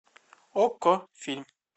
окко фильм